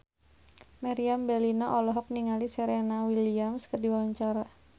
Meriam Bellina olohok ningali Serena Williams keur diwawancara